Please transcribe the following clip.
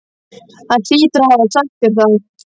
Hún hlýtur að hafa sagt þér það.